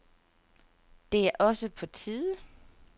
Det er også på tide.